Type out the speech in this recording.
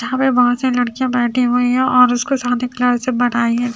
यहां पे बहोत सी लड़कियां बैठी हुई हैं और उसको सादे कलर से बनाई--